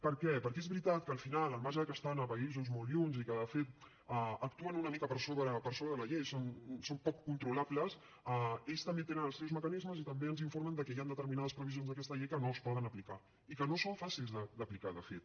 per què perquè és veritat que al final al marge de que estan en països molt llunyans i que de fet actuen una mica per sobre de la llei són poc controlables ells també tenen els seus mecanismes i també ens informen de que hi han determinades previsions d’aquesta llei que no es poden aplicar i que no són fàcils d’aplicar de fet